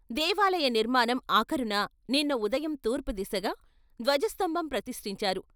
దేవాలయ నిర్మాణం ఆఖరున నిన్న ఉదయం తూర్పుదిశగా ధ్వజ స్తంభం ప్రతిష్టించారు.